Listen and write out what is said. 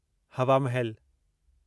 हवा महल